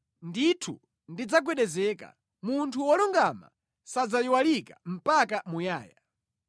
Ndithu sadzagwedezeka; munthu wolungama sadzayiwalika mpaka muyaya.